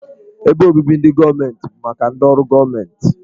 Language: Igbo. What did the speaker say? Ebe obibi ndị gọọmentị bụ maka ndị ọrụ gọọmentị.